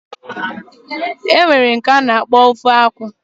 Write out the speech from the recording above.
Enwere nke ana akpokwa banga soup